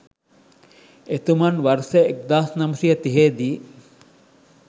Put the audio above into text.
එතුමන් වර්ෂ 1930 දී